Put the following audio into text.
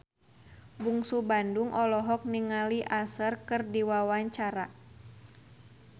Bungsu Bandung olohok ningali Usher keur diwawancara